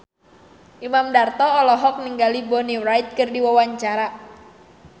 Imam Darto olohok ningali Bonnie Wright keur diwawancara